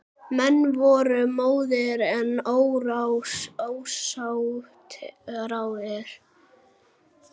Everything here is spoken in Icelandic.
Menn voru móðir en ósárir.